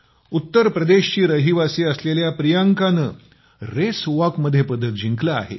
उत्तरप्रदेशची रहिवासी असलेल्या प्रियांकानं रेसवॉकमध्ये पदक जिंकलं आहे